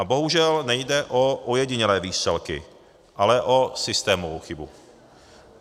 A bohužel nejde o ojedinělé výstřelky, ale o systémovou chybu.